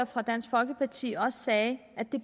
fra dansk folkeparti også sagde